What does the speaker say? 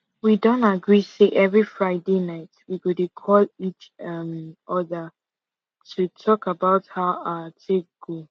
we don agree say every friday night we go dey call each um other to talk about how our take go